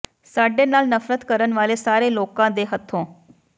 ਸਾਡੇ ਨਾਲ ਨਫ਼ਰਤ ਕਰਨ ਵਾਲੇ ਸਾਰੇ ਲੋਕਾਂ ਦੇ ਹੱਥੋਂ